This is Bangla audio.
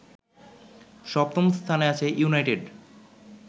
সপ্তম স্থানে আছে ইউনাইটেড